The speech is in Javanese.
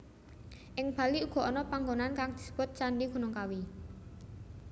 Ing Bali uga ana panggonan kang disebut Candhi Gunung Kawi